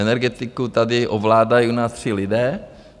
Energetiku tady ovládají u nás tři lidé.